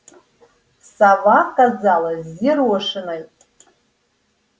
сова казалась взъерошенной